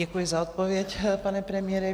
Děkuji za odpověď, pane premiére.